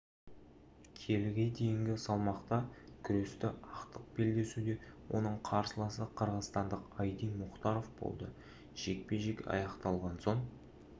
келіге дейінгі салмақта күресті ақтық белдесуде оның қарсыласы қырғызстандық айдин мұхтаров болды жекпе-жек аяқталған соң